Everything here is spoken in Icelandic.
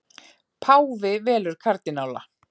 Páfi velur kardínála